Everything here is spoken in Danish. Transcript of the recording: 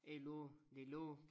Det lå det lå